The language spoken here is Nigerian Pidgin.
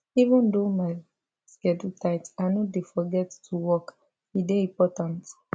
even though my schedule tight i no dey forget to walk e dey important